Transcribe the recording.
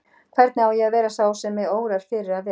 Hvernig á ég að verða sá sem mig órar fyrir að vera?